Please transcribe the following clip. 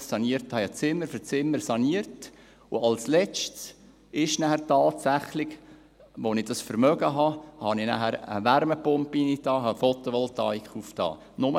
Ich sanierte Zimmer für Zimmer und baute als Letztes dann tatsächlich – als ich es mir leisten konnte – eine Wärmepumpe ein und installierte eine Photovoltaikanlage.